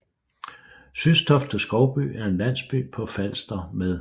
Systofte Skovby er en landsby på Falster med